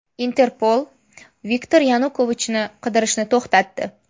Interpol Viktor Yanukovichni qidirishni to‘xtatdi.